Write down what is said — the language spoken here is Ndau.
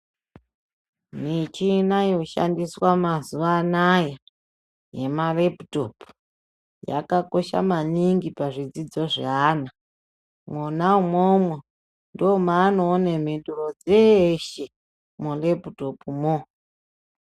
Michina yoshandiswa mazuwa anaya yema leputopu yakakosha maningi pazvidzidzo zveana. Mwona imwomwo ndomaanoone mhinduro dzeshe muleputopumwo.